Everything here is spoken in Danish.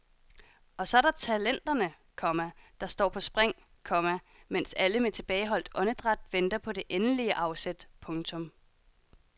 Og så er der talenterne, komma der står på spring, komma mens alle med tilbageholdt åndedræt venter på det endelige afsæt. punktum